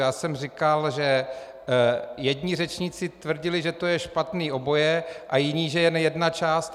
Já jsem říkal, že jedni řečníci tvrdili, že to je špatné oboje, a jiní, že jen jedna část.